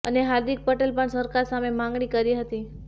અને હાર્દિક પટેલે પણ સરકાર સામે માંગણી કરી હતી